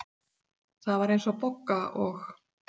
Það var eins og Bogga og